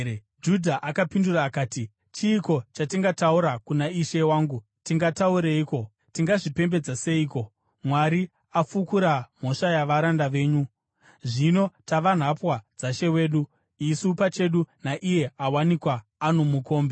Judha akapindura akati, “Chiiko chatingataura kuna ishe wangu? Tingataureiko? Tingazvipembedza seiko? Mwari afukura mhosva yavaranda venyu. Zvino tava nhapwa dzashe wedu, isu pachedu naiye awanikwa ano mukombe.”